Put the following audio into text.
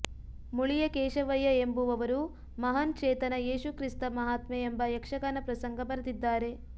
ಮುಳಿಯ ಕೇಶವಯ್ಯ ಎಂಬುವವರು ಮಹಾನ್ ಚೇತನ ಯೇಸು ಕ್ರಿಸ್ತ ಮಹಾತ್ಮೆ ಎಂಬ ಯಕ್ಷಗಾನ ಪ್ರಸಂಗ ಬರೆದಿದ್ದಾರೆ